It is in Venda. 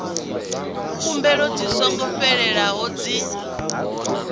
khumbelo dzi songo fhelelaho dzi